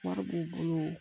Wari b'u bolo